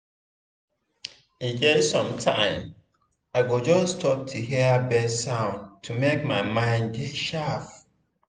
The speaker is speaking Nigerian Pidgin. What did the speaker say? e get sometime i go just stop to hear bird sound to make my mind dey sharp.